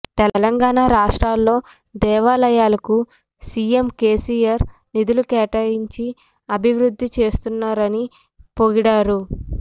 తెలంగాణ రాష్ట్రంలో దేవాలయాలకు సిఎం కెసిఆర్ నిధులు కేటాయించి అభివృద్ధి చేస్తున్నారని పొగిడారు